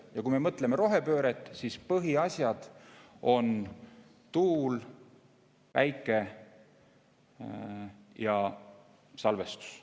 Ja kui me mõtleme rohepööret, siis põhiasjad on tuul, päike ja salvestus.